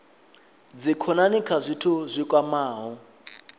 dzikhonani kha zwithu zwi kwamaho